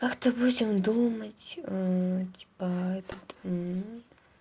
как-то будем думать типа этот